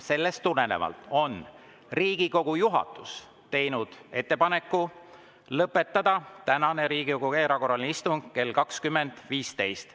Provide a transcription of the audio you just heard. Sellest tulenevalt on Riigikogu juhatus teinud ettepaneku lõpetada tänane Riigikogu erakorraline istung kell 20.15.